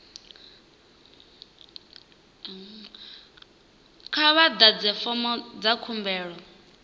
kha vha ḓadze fomo ya khumbelo